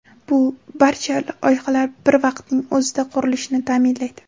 Bu barcha loyihalar bir vaqtning o‘zida qurilishini ta’minlaydi.